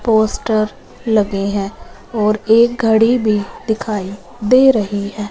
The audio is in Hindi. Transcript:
पोस्टर लगे हैं और एक घड़ी भी दिखाई दे रही है।